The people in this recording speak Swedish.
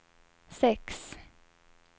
sex